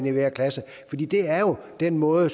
i hver klasse det er jo en måde at